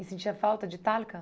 E sentia falta de Talca?